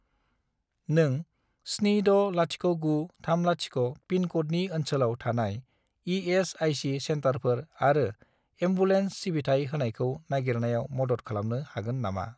नों 760930 पिनक'डनि ओनसोलाव थानाय इ.एस.आइ.सि. सेन्टारफोर आरो एम्बुलेन्स सिबिथाय होनायखौ नागिरनायाव मदद खालामनो हागोन नामा?